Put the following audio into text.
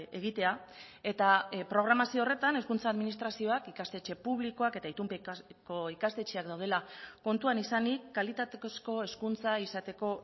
egitea eta programazio horretan hezkuntza administrazioak ikastetxe publikoak eta itunpeko ikastetxeak daudela kontuan izanik kalitatezko hezkuntza izateko